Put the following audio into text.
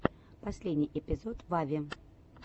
последний эпизод вави